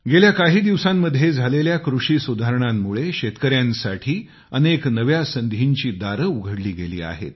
गेल्या काही दिवसांत झालेल्या कृषी सुधारणांमुळे शेतकऱ्यांसाठी अनेक नव्या संधींची दारे उघडली गेली आहेत